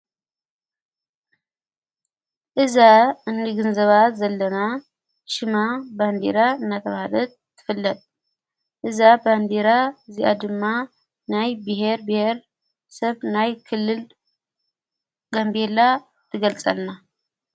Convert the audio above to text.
እዛ እንኒግንዘባት ዘለና ሽማ ባንዲራ ናተራሃደት ትፍለጥ እዛ ባንዲራ እዚኣ ድማ ናይ ብሔር ቤሔር ሰብ ናይ ክልልድ ጋንቤላ ትገልጸልና።